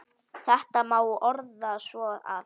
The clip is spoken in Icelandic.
Þetta má orða svo að